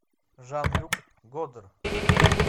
жан люк годар